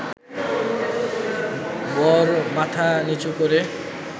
বর মাথা নিচু করে